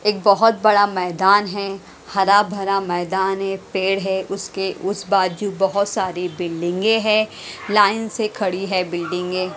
एक बहुत बड़ा मैदान है हरा-भरा मैदान है पेड़ है उसके उस बाजू बहुत सारी बिल्डिंगें हैं लाइन से खड़ी है बिल्डिंगें।